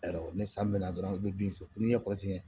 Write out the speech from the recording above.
Ni san bɛ na dɔrɔn i bɛ bin jɔ ko n'i ye